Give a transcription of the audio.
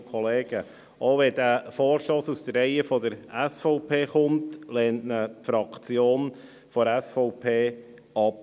Auch wenn dieser Vorstoss aus den Reihen der SVP kommt, lehnt ihn die SVP-Fraktion ab.